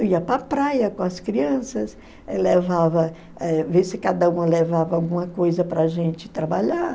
Eu ia para a praia com as crianças, eh levava, eh vê se cada uma levava alguma coisa para a gente trabalhar.